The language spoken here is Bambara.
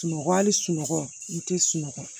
Sunɔgɔ hali sunɔgɔ i tɛ sunɔgɔ